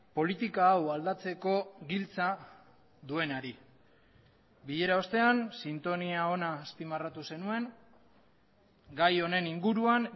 politika hau aldatzeko giltza duenari bilera ostean sintonia ona azpimarratu zenuen gai honen inguruan